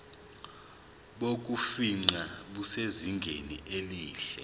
bokufingqa busezingeni elihle